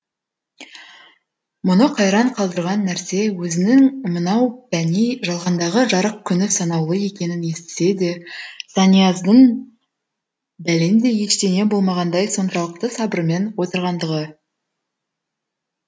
мұны қайран қалдырған нәрсе өзінің мынау пәни жалғандағы жарық күні санаулы екенін естісе де санияздың бәлендей ештеңе болмағандай соншалықты сабырмен отырғандығы